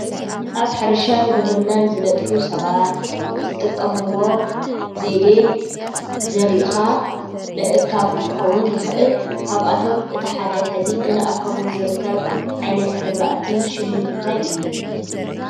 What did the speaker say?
ኣብ ሕርሻን ግብርናን ዝነጥፉ ሰባት ዝጥቀምዎም ዘዴ ዘሪእኻ ምእካብ ክኮውን ይኽእል። ካብኣቶም ድማ እቲ ሓደ ሕዚ እንዳኣከቦ ዝርከብ ዓይነት ዝራእቲ ሽሙ እንታይ እዩ ?